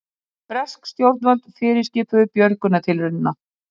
Bresk stjórnvöld fyrirskipuðu björgunartilraunina